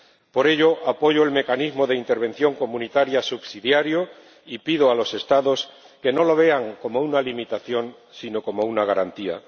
Por ello, apoyo el mecanismo de intervención comunitaria subsidiario y pido a los Estados que no lo vean como una limitación, sino como una garantía.